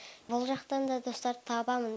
бұл жақтан да достар табамын